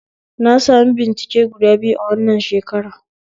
Na sami bincike guda uku a wannan shekara